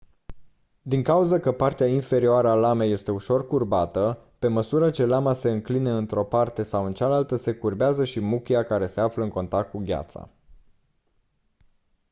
din cauză că partea inferioară a lamei este ușor curbată pe măsură ce lama se înclină într-o parte sau în cealaltă se curbează și muchia care se află în contact cu gheața